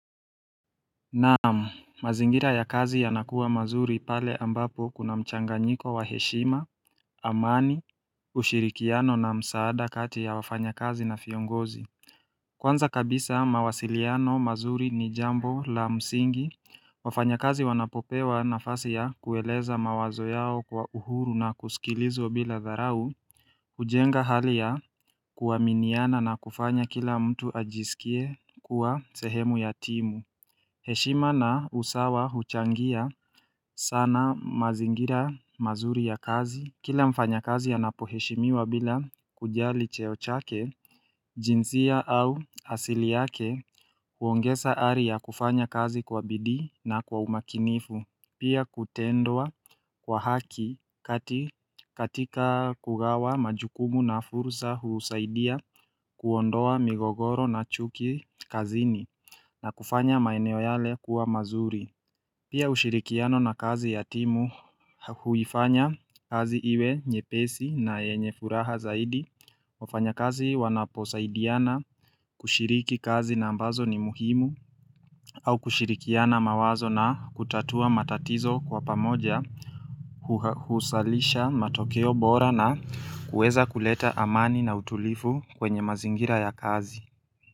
Naamu, mazingira ya kazi ya nakuwa mazuri pale ambapo kuna mchanganyiko wa heshima, amani, ushirikiano na msaada kati ya wafanya kazi na fiongozi Kwanza kabisa mawasiliano mazuri ni jambo la msingi, wafanya kazi wanapopewa na fasi ya kueleza mawazo yao kwa uhuru na kusikilizwa bila dharau ujenga hali ya kuwaminiana na kufanya kila mtu ajisikie kuwa sehemu ya timu heshima na usawa huchangia sana mazingira mazuri ya kazi. Kila mfanya kazi ya napoheshimiwa bila kujali cheochake, jinsia au asili yake huongesa aria kufanya kazi kwa bidii na kwa umakinifu. Pia kutendua kwa haki katika kugawa majukumu na fursa husaidia kuondoa migogoro na chuki kazini na kufanya maeneo yale kuwa mazuri Pia ushirikiano na kazi yatimu huifanya kazi iwe nyepesi na yenye furaha zaidi wafanya kazi wanaposaidiana kushiriki kazi na ambazo ni muhimu au kushirikiana mawazo na kutatua matatizo kwa pamoja husalisha matokeo bora na kueza kuleta amani na utulifu kwenye mazingira ya kazi.